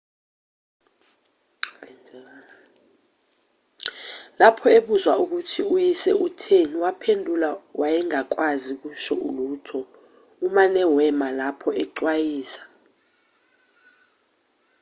lapho ebuzwa ukuthi uyise utheni waphendula wayengakwazi ukusho lutho umane wema lapha ecwayiza